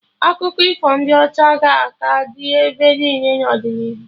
Akụkọ ifo ndị ọcha ga-aka dị ebe niile n'ọdịnihu